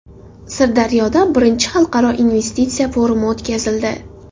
Sirdaryoda I Xalqaro investitsiya forumi o‘tkazildi.